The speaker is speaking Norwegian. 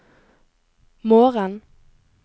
morgen